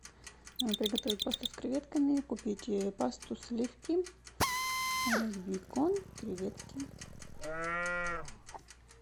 приготовить пасту с креветками купить пасту сливки бекон креветки